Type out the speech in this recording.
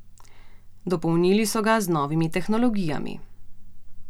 Dopolnili so ga z novimi tehnologijami.